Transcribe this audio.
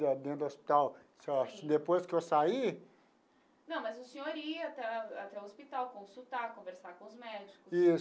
Dentro do hospital assim ó depois que eu saí... Não, mas o senhor ia até até o hospital, consultar, conversar com os médicos. Isso.